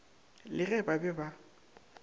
le ge ba be ba